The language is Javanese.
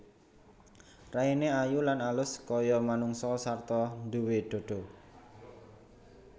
Raine ayu lan alus kaya manungsa sarta duwé dhadha